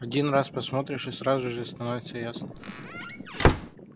один раз посмотришь и сразу же все становится ясно